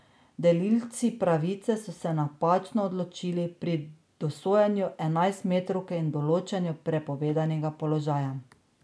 Delilci pravice so se napačno odločali pri dosojanju enajstmetrovk in določanju prepovedanega položaja.